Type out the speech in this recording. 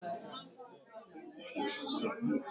Blood circulation is controlled by the heart